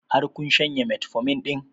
Har kun shanye metformin ɗin?